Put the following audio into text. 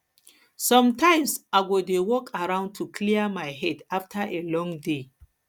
sometimes i go dey walk around to clear my head after a long day